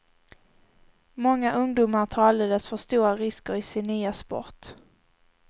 Många ungdomar tar alldeles för stora risker i sin nya sport.